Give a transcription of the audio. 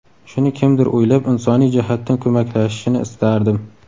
Shuni kimdir o‘ylab, insoniy jihatdan ko‘maklashishini istardim.